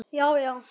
já já